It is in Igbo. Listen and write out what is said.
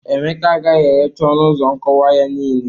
Emeka gaha erecha ọnụ ụzọ nkụwa ya niile.